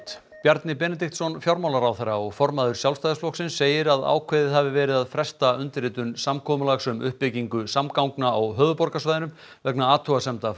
Bjarni Benediktsson fjármálaráðherra og formaður Sjálfstæðisflokksins segir að ákveðið að hafi verið að fresta undirritun samkomulags um uppbyggingu samgangna á höfuðborgarsvæðinu vegna athugasemda